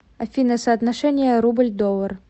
афина соотношение рубль доллар